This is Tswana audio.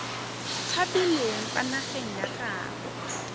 tshabileng kwa nageng ya gaabo